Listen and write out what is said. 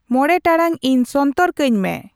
ᱢᱚᱬᱮ ᱴᱟᱲᱟᱝ ᱤᱧ ᱥᱚᱱᱛᱚᱨ ᱠᱟᱹᱧ ᱢᱮ